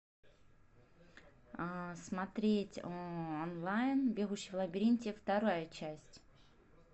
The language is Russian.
смотреть онлайн бегущий в лабиринте вторая часть